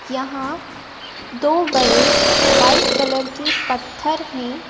यहाँ दो बड़े वाइट कलर के पत्थर हैं।